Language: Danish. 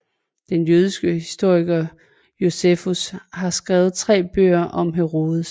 Den jødiske historiker Josefus har skrevet tre bøger om Herodes